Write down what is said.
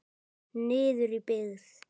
Niður í byggð.